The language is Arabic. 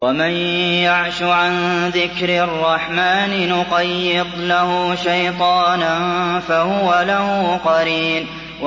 وَمَن يَعْشُ عَن ذِكْرِ الرَّحْمَٰنِ نُقَيِّضْ لَهُ شَيْطَانًا فَهُوَ لَهُ قَرِينٌ